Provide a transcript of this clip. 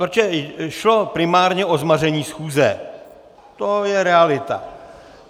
Protože šlo primárně o zmaření schůze, to je realita.